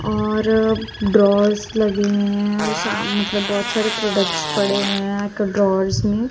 और ड्रार्स लगे हुए हैं सा मतलब बहोत सारे प्रोडक्ट्स पड़े हुए हैं एक ड्रार्स में--